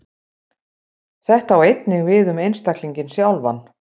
Þetta á einnig við um einstaklinginn sjálfan.